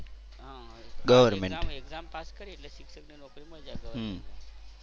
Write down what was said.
exam exam pass કરીએ એટલે શિક્ષકની નોકરી મળી જાય government માં.